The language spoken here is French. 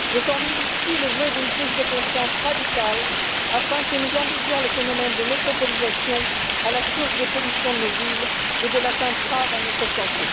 Je formule ici le vœu d'une prise de conscience radicale afin que nous endiguions le phénomène de métropolisation à la source des pollutions de nos villes et de l'atteinte grave à notre santé.